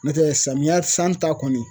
N'o tɛ samiya san ta kɔni